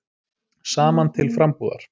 Saman til frambúðar.